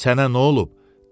Sənə nə olub?